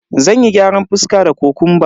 Zanyi gyaran fuska da kokumba.